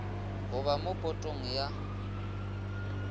go ba mo potong ya